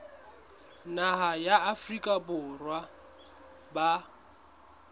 naha ya afrika borwa ba